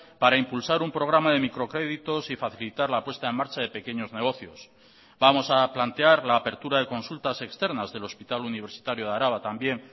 para impulsar un programa de microcréditos y facilitar la puesta en marcha de pequeños negocios vamos a plantear la apertura de consultas externas del hospital universitario de araba también